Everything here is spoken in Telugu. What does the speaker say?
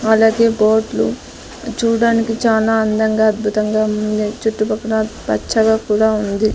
అలాగే బోట్లు చూడ్డానికి చాలా అందంగా అద్భుతంగా ఉన్నింది చుట్టు పక్కల పచ్చగా కూడా ఉంది.